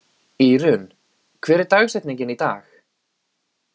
Írunn, hver er dagsetningin í dag?